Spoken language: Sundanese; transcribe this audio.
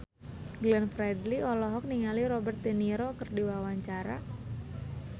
Glenn Fredly olohok ningali Robert de Niro keur diwawancara